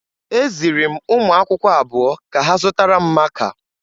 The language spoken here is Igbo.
Eziri m ụmụ akwụkwọ abụọ ka ha zụtara m maaka.